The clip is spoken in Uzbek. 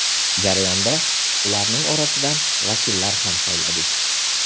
Jarayonda ularning orasidan vakillar ham sayladik.